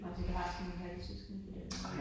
Nåh så du har sådan halvsøskende på den måde